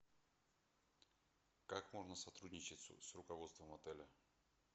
как можно сотрудничать с руководством отеля